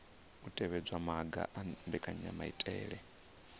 u tevhedza maga a mbekanyamaitele